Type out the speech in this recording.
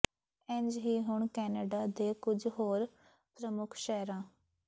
ਇੰਝ ਹੀ ਹੁਣ ਕੈਨੇਡਾ ਦੇ ਕੁਝ ਹੋਰ ਪ੍ਰਮੁੱਖ ਸ਼ਹਿਰਾਂ